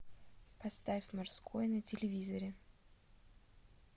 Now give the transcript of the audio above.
поставь морской на телевизоре